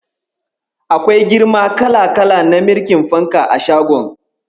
Akwai girma kala-kala na mirƙin fanka a shagon.